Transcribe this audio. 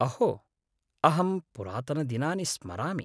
अहो, अहं पुरातनदिनानि स्मरामि।